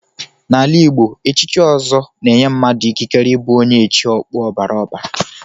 N'ala Igbo, echichi ọzọ na-enye mmadụ ikikere ịbụ onye echi okpu ọbara ọbara.